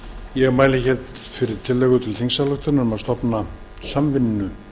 ég mæli hér fyrir tillögu til þingsályktunar um að stofna samvinnu